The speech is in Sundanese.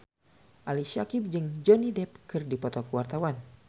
Ali Syakieb jeung Johnny Depp keur dipoto ku wartawan